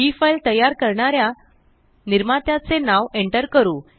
हि फ़ाइल तयार करणाऱ्या निर्मात्याचे नाव एंटर करू